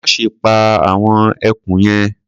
Má ṣe pa àwọn ẹkùn yẹn.